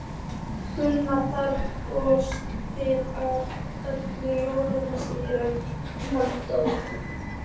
Gunna af og til og öll jól síðan hann dó.